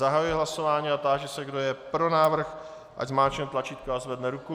Zahajuji hlasování a táži se, kdo je pro návrh, ať zmáčkne tlačítko a zvedne ruku.